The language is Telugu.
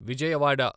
విజయవాడ